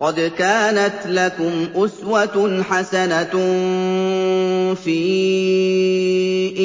قَدْ كَانَتْ لَكُمْ أُسْوَةٌ حَسَنَةٌ فِي